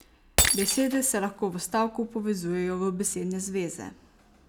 Besede se lahko v stavku povezujejo v besedne zveze.